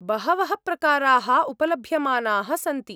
बहवः प्रकाराः उपलभ्यमानाः सन्ति।